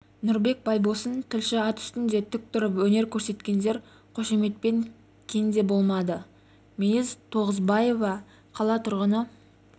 нұрбек байбосын тілші ат үстінде тік тұрып өнер көрсеткендер қошеметтен кенде болмады мейіз тоғызбаева қала тұрғыны